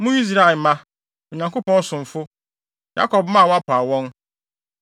Mo Israelmma, Onyankopɔn somfo, Yakob mma a wapaw wɔn.